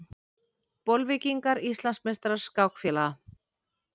Bolvíkingar Íslandsmeistarar skákfélaga